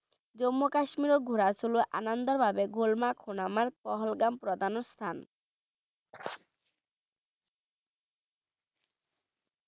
জম্মু কাশ্মীৰত ঘোঁৰা চলোৱা আনন্দৰ বাবে গুলমাৰ্গ, সোণমাৰ্গৰ, পহলগাম প্ৰধান স্থান।